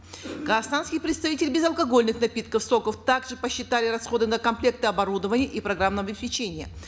казахстанские представители безалкогольных напитков соков также посчитали расходы на комплекты оборудований и программного обеспечения